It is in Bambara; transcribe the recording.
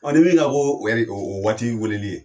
ni min kan ko o o o waati weleli ye.